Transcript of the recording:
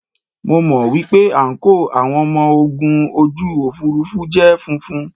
Mo mọ̀ wípé àǹkóò àwọn ọmọ ogun ojú òfuurufú jẹ́ funfun.